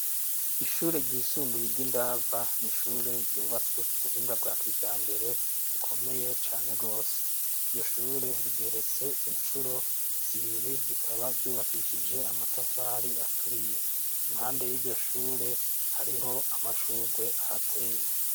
Ishure ryisumbuye ry'indava ni ishure ryubatswe ku buhinga bwa kija mbere ukomeye cane gwose iryo shure rigeretse incuro zibiri rikaba ryubakishije amatafari aturiye impande y'iryo shure hariho amashurwe ahateye.